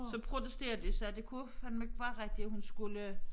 Så protesterede de sagde det kunne fandme ikke være rigtigt at hun skulle